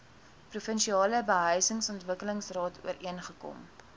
provinsiale behuisingsontwikkelingsraad ooreengekom